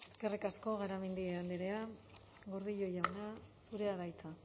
eskerrik asko garamendi andrea gordillo jauna zurea da hitza